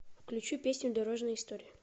включи песню дорожная история